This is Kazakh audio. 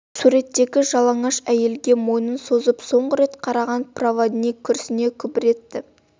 суреттегі жалаңаш әйелге мойнын созып соңғы рет қараған проводник күрсіне күбір етті